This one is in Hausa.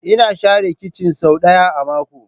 Ina share kicin sau ɗaya a mako.